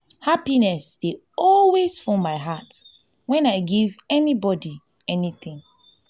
happiness dey always full my heart wen i give anybody anything